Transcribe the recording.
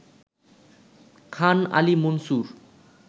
Khan Ali Munsur